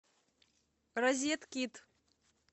розеткид